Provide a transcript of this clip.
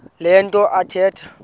le nto athetha